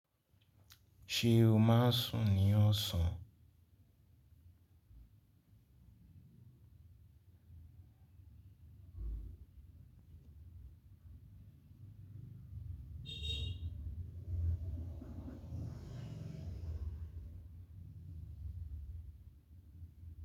Ṣé o máa ń sùn ní ọ̀sán?